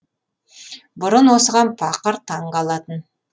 бұрын осыған пақыр таң қалатын